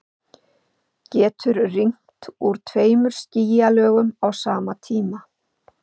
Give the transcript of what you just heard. Getur rignt úr tveimur skýjalögum á sama tíma?